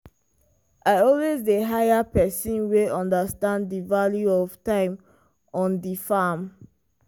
i always dey hire person wey understand di value of time on di farm.